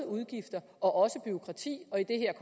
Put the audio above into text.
udgifter og bureaukrati og i det her